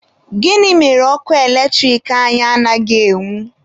Gịnị mere ọkụ eletrik anyị anaghị enwu?